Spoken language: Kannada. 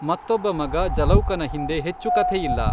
ಮತ್ತೊಬ್ಬ ಮಗ ಜಲೌಕನ ಹಿಂದೆ ಹೆಚ್ಚು ಕಥೆಯಿಲ್ಲ.